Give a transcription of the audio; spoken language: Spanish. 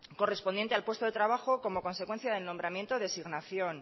correspondiente al puesto de trabajo como consecuencia del nombramiento designación